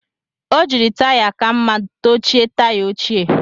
O jiri taya ka mma dochie taya ochie